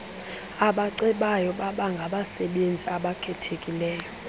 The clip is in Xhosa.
abacebayo babengabasebenzi abakhethekileyo